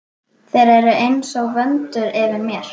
Þeir eru einsog vöndur yfir mér.